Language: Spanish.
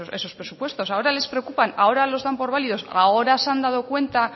esos presupuestos ahora les preocupan ahora los dan por válidos ahora se han dado cuenta